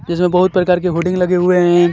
इसमें बोहोत प्रकार के होडिंग लगे हुए हैं.